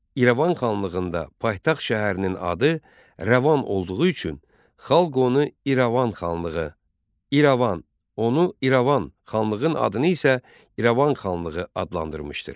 İrəvan xanlığında paytaxt şəhərinin adı Rəvan olduğu üçün xalq onu İrəvan xanlığı, İrəvan, onu İrəvan, xanlığın adını isə İrəvan xanlığı adlandırmışdır.